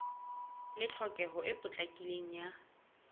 le tlhokeho e potlakileng ya